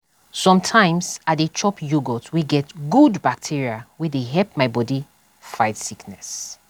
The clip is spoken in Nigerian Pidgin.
sometimes i dey chop yogurt wey get good bacteria wey dey help my body fight sickness.